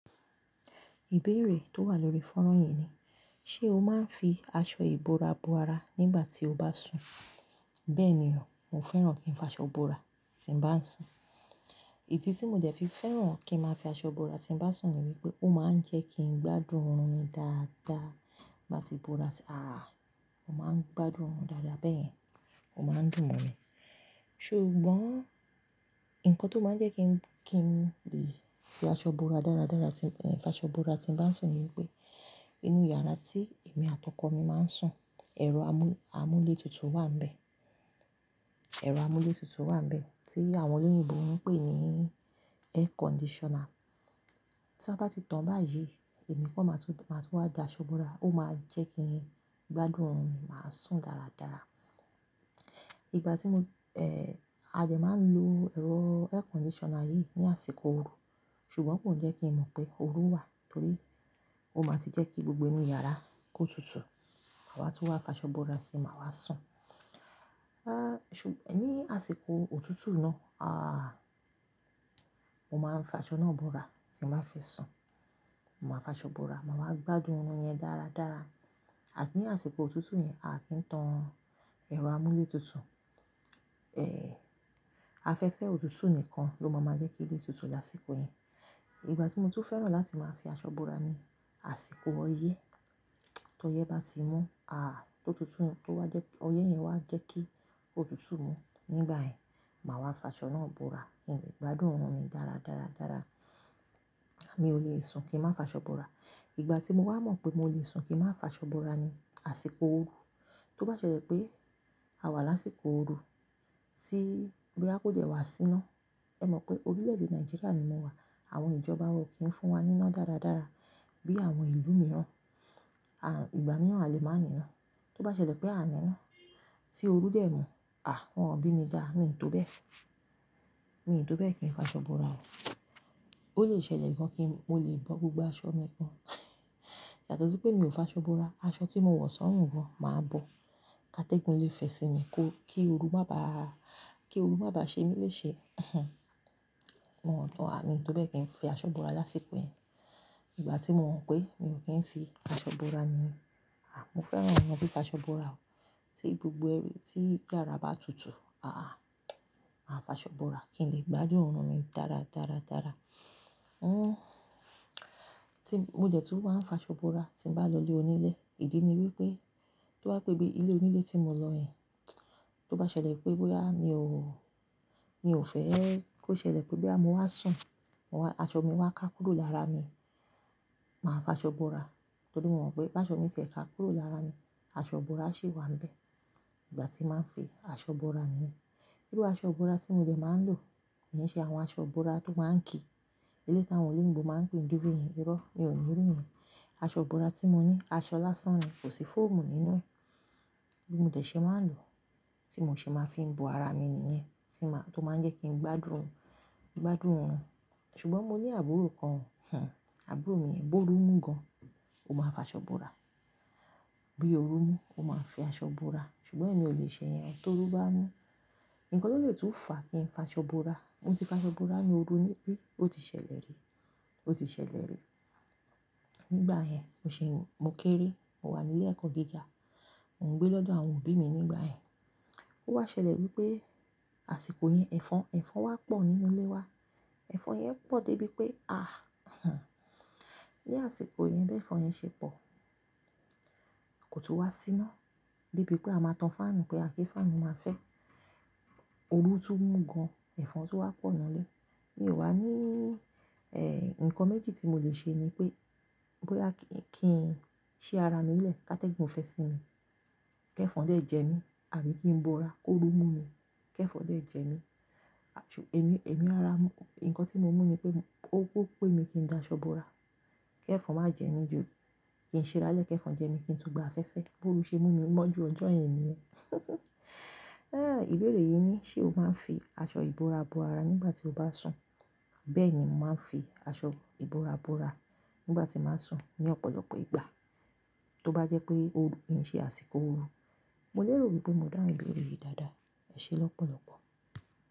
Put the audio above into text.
Ìbéèrè tó wà lórí fónrán yìí ni, ṣe o máa ń fi aṣọ ìbora bo ara nígbà tí o bá sùn? Bẹ́ẹ̀ ni o, mo fẹ́ràn kí n fi aṣọ bora tí n bá ń sùn. Idí tí mo dẹ̀ fi fẹ́ràn kí ń ma fi aṣọ bora tí n bá ń sùn ni wípé ó máa ń jẹ́ kí n gbádùn ọrùn mi dáadáa. Bí mo bá ti bora, aà! Mo máa ń gbádùn ọrùn dáadáa, bẹ́yen ó máa ń dùn mo mi. Ṣùgbọ́n nǹkan tó máa ń jẹ́ kí n lè fi aṣọ bora dáradára tí mo bá ń sùn ni wípé inú yàrá tí èmi àti ọkọ mi máa ń sùn, ẹ̀rọ amú-amúlétutù wà níbẹ̀. Ẹ̀rọ amúlétutù wà níbẹ̀ tí àwọn olóyìnbo ń pè ní Air Conditioner. Tí a bá ti tan báyìí, èmi kò máa tun máa tun wá da aṣọ bora, ó máa jẹ́ kí n gbádùn ọrùn mi, màá sùn dáradára. Ìgbà tí mo, e, adẹ máa ń lo ẹ̀rọ Air Conditioner yìí ní àsìkò ooru, ṣùgbọ́n kò njẹ́ kí n mọ̀ pé ooru wà torí ó máa ti jẹ́ kí gbogbo inú yàrá kó tutù, ma wa tun wá fi aṣọ bora sì máa wá sùn. A, ṣùgb-- ní àsìkò òtútù náà, a, mo máa ń fi aṣọ náà bora tí mo bá fe sùn. Mo máa fi aṣọ bora, màá wá gbádùn ọrùn yẹn dáradára. À ní àsìkò òtútù yẹn, a kì í tan ẹ̀rọ amúlétutù. Èé, afẹ́fẹ́ òtútù nìkan ló máa máa jẹ́ kí ilé tutù lásìkò yẹn. Ìgbà tí mo tún fẹ́ràn láti máa fi aṣọ bora ni àsìkò ọyẹ́. Tọ yẹ́ bá ti mú, aà! Tó tutù, tó wá jẹ́, ọyẹ́ yẹn wà jẹ́ kí ó tutù mú, nígbà yẹn, màá wá fi aṣọ náà bora kí n lè gbádùn ọrùn mi dáradáradára. Èmi ò le sùn kí n má fi aṣọ bora. Ìgbà tí mo wá mọ̀ pé mo lè sùn kí n má fi aṣọ bora ni àsìkò ooru. Tó bá ṣẹlẹ̀ pé a wà lásìkò ooru tí boya kò dẹ̀ wá síná, ẹ mọ̀ pé orílẹ̀-èdè Nàìjíríà ni mo wà, àwọn ìjọba wa o kì ń fún wa níná dáradára bí àwọn ìlú mìíràn, a, ìgbà mìíràn a lè máa ní iná. Tó bá ṣẹlẹ̀ pé a ní iná, tí oru dẹ̀ mú, àh! Wọ́n ò bí mi dá, mi ò tó bẹ́ẹ̀. Mi tó bẹ́ẹ̀ kí n fi aṣọ bora. Ó lè ṣẹlẹ̀ gan kí mo lè bọ́ gbogbo aṣọ mi gan. Yàtọ̀ sí pé mi ò fi aṣọ bora, aṣọ tí mo wọ̀ sọ́ruǹ gan máa bọ̀. Kátégùn lè fẹ́ sì mi kó kí ooru má bàá, kí ooru má bàá ṣe mí lè ṣe. Mo ò tọ́ à, mi ò tó bẹ́ẹ̀ kí n fi aṣọ bora lásìkò yẹn. Ìgbà tí mo mọ̀ pé mi ò kí ń fi aṣọ ìbora nìyẹn, à, mo fẹ́ràn nà án bí i fi aṣọ ìbora o. Tí gbogbo e, tí yàrá bá tutù, aà, màá fi aṣọ bora kí n lè gbádùn ọrùn mi dáradáradára. N, tí, mo dẹ̀ tun maa n f'aṣọ bora tí mo bá lọ ilé onílé, ìdí ni wípé tó bá pé bí ilé onílé tí mo lọ yẹn, tó bá ṣẹlẹ̀ pé bóyá mi ò, mi ò fẹ́ kó ṣẹlẹ̀ pé bóyá mo wá sùn, mo wá, aṣọ mi wá ká kúrò lára mi, màá fi aṣọ ìbora. Torí mo mọ̀ pé bá aṣọ mi ṣe ká kúrò lára mi, aṣọ ìbora ṣì wà níbẹ̀ ìgbà tí màá ń fi aṣọ ìbora nìyẹn. Irú aṣọ ìbora tí mo dẹ̀ máa ń lò ki n ṣe àwọn aṣọ ìbora tó máa ń kìí. Iléyii táwọn olóyìnbo máa ń pè duve yẹn, irọ́, mi ò ní rí irú yẹn. Aṣọ ìbora tí mo ní, aṣọ lásàn ni, kò sí fóòmù nínú ẹ̀. Bó mo de ṣe máa ń lò, tí mo ṣe máa fi ń bo ara mi nìyẹn, tí màá, tó máa ń jẹ́ kí n gbádùn, gbádùn oorun. Ṣùgbọ́n mo ní àbúrò kan, àbúrò mi yẹn bóru mú gan, ó máa ń fi aṣọ bora. Bí ooru mú, ó máa ń fi aṣọ ìbora. Ṣùgbọ́n èmi ò lè ṣe yẹn, tó ooru bá mú. Nǹkan tó lè tún fà kí n fi aṣọ bora, mo ti fi aṣọ bora ní ooru níbí, ó ti ṣẹlẹ̀ rí, ó ti ṣẹlẹ̀ rí. Nígbà yẹn, mo ṣi ń, mo kéré, mo wà ní ilé ẹ̀kọ́ gíga, mò ń gbé lọ́dọ̀ àwọn òbí mi nígbà yẹn. Ó wá ṣẹlẹ̀ wípé àsìkò yẹn, ẹ̀fọn, ẹ̀fọn wá pọ̀ nínú ilé wa. Ẹ̀fọn yẹn pọ̀ dé bí pé, aà! Ní àsìkò yẹn bí ẹ̀fọn yẹn ṣe pọ̀, kò tún wá síná. Dé bí pé a máa tan fáànù pé a kí fáànù máa fẹ́. Ooru tún mú gan, ẹ̀fọn tó wá pọ̀ nínú ilé. Mi ò wá ní, e, ǹkan méjì tí mo lè ṣe ni pé bóyá kí ń, kí ń ṣí ara mi lẹ̀ ká tẹ́gbòn fẹ́ sì mi kí ẹ̀fọn dé jẹ mí àbí kí n bora kó ooru mú mi kí ẹ̀fọn dé jẹ mí. Àjo, èmi, èmi rora mú, nǹkan tí mo mú ni pé ó kú pé mi kí n da aṣọ bora kí ẹ̀fọn má jẹ mí ju kí n ṣira lẹ́ kí ẹ̀fọn jẹ mí kí n tún gba afẹ́fẹ́ bóru ṣe mú mi mọ́ ju ọjọ́ yẹn nìyẹn. Ẹ́! Ìbéèrè yìí ni, ṣe o máa ń fi aṣọ ìbora bo ara nígbà tí o bá sùn? Bẹ́ẹ̀ ni, mo máa ń fi aṣọ ìbora bo ara nígbà tí màá sùn ní ọ̀pọ̀lọpọ̀ ìgbà. Tí ó bá jẹ́ pé ooru, kí ń ṣe àsìkò ooru. Mo lè rò wípé mo dáhùn ìbéèrè yìí dáadáa. Ẹ ṣé lọ́pọ̀lọpọ̀.